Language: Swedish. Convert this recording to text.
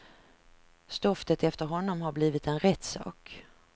Stoftet efter honom har blivit en rättssak.